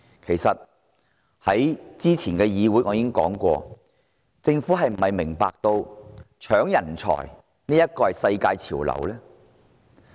我早前在本會已經問過，政府是否明白搶奪人才已是世界潮流？